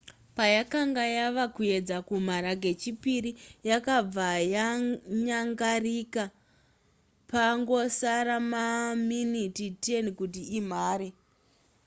payakanga yava kuedza kumhara kechipiri yakabva yanyangarika pangosara maminiti 10 kuti imhare